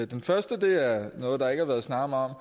den første er noget der ikke har været snakket meget